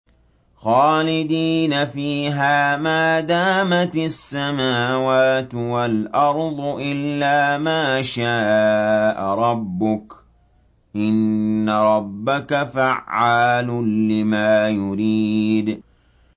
خَالِدِينَ فِيهَا مَا دَامَتِ السَّمَاوَاتُ وَالْأَرْضُ إِلَّا مَا شَاءَ رَبُّكَ ۚ إِنَّ رَبَّكَ فَعَّالٌ لِّمَا يُرِيدُ